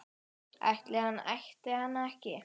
Ætti hann ætti hann ekki?